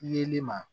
Yeli ma